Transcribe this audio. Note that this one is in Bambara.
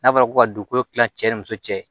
N'a fɔra ko ka dugukolo kilan cɛ ni muso cɛ